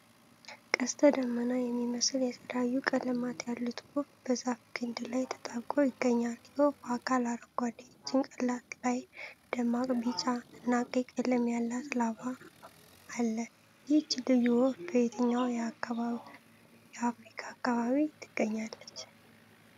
ቀስተ ደመና የሚመስሉ የተለያዩ ቀለማት ያሉት ወፍ በዛፍ ግንድ ላይ ተጣብቆ ይገኛል። የወፏ አካል አረንጓዴ፣ ጭንቅላቱ ላይ ደማቅ ቢጫ እና ቀይ ቀለም ያለው ላባ አለ። ይህች ልዩ ወፍ በየትኛው የአፍሪካ አካባቢ ትገኛለች?